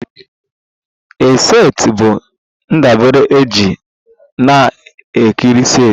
A set bụ ndabere eji na a nkiri set